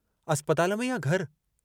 अस्पताल में या घरु?